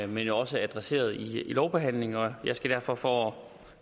men også er adresseret i lovbehandlingen jeg skal derfor for